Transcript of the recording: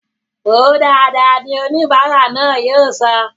Wòó dáadáa! ni oníbara náà yóò sọ